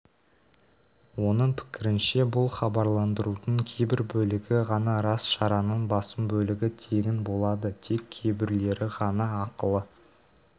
оның пікірінше бұл хабарландырудың кейбір бөлігі ғана рас шараның басым бөлігі тегін болады тек кейбіреулері ғана ақылы